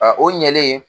A o ɲɛlen